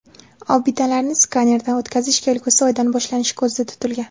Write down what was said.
Obidalarni skanerdan o‘tkazish kelgusi oydan boshlanishi ko‘zda tutilgan.